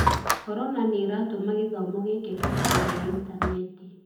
Corona nĩ ĩratũma gĩthomo gĩkĩke kũgerera intaneti.